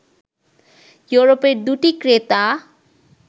ইউরোপের দুটি ক্রেতা